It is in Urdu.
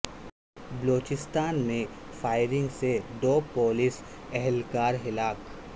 بلوچستان میں فائرنگ سے دو پولیس اہلکار ہلاک